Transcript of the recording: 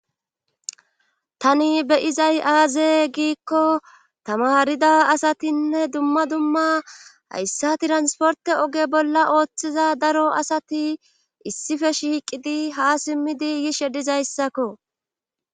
Tani be izay aaze giikko tamarida asatinne dumma dumma hayssati transporte oge bolla ooththiza daro asati issife shiiqidi ha simmidi yishe dizayssakko.